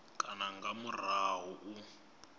kana nga murahu ha u